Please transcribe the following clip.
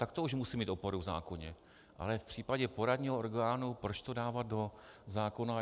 Tak to už musí mít oporu v zákoně, ale v případě poradního orgánu proč to dávat do zákona?